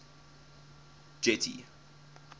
getty